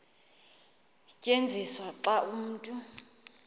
tyenziswa xa umntu